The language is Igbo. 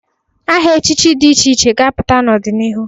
Aha echichi dị iche iche ga-apụta n'ọdịnihu.